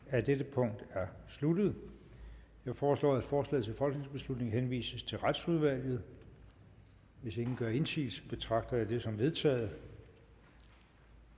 af dette punkt er sluttet jeg foreslår at forslaget til folketingsbeslutning henvises til retsudvalget hvis ingen gør indsigelse betragter jeg det som vedtaget